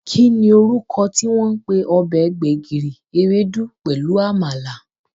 Kí ni orúkọ tí wọ́n ń pè ọbẹ̀ gbẹ̀gìrì, ewédú pelu Àmàlà?